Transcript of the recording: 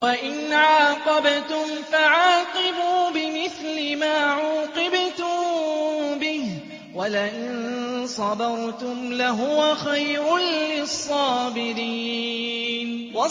وَإِنْ عَاقَبْتُمْ فَعَاقِبُوا بِمِثْلِ مَا عُوقِبْتُم بِهِ ۖ وَلَئِن صَبَرْتُمْ لَهُوَ خَيْرٌ لِّلصَّابِرِينَ